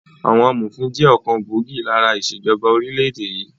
Àwọn amòfin jẹ́ ọ̀kan gbòógì lára ìṣèjọba orílẹ̀ èdè yìí